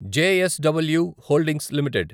JSW holdings limited